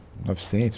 novecentos